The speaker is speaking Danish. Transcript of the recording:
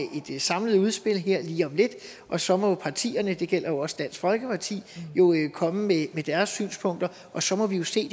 et samlet udspil her lige om lidt og så må partierne og det gælder også dansk folkeparti jo komme med deres synspunkter og så må vi se